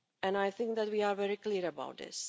I think that we are very clear about this.